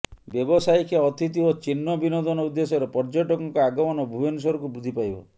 ବ୍ୟବସାୟିକ ଅତିଥି ଓ ଚିନ୍ନ ବିନୋଦନ ଉଦ୍ଦେଶ୍ୟରେ ପର୍ଯ୍ୟଟକଙ୍କ ଆଗମନ ଭୁବନେଶ୍ୱରକୁ ବୃଦ୍ଧି ପାଇବ